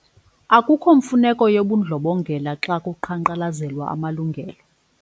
Akukho mfuneko yobundlobongela xa kuqhankqalazelwa amalungelo.